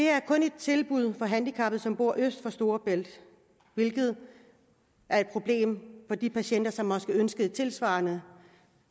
er kun et tilbud handicappede som bor øst for storebælt hvilket er et problem for de patienter som måske ønsker et tilsvarende